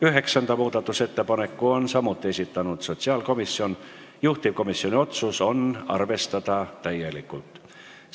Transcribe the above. Üheksanda muudatusettepaneku on samuti esitanud sotsiaalkomisjon, juhtivkomisjoni otsus: arvestada täielikult.